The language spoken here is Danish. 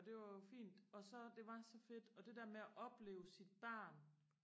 og det var jo fint og så det var så fedt og det der med at opleve sit barn